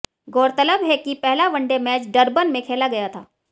गौरतलब है कि पहला वनडे मैच डरबन में खेला गया था